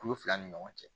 Kulu fila ni ɲɔgɔn cɛ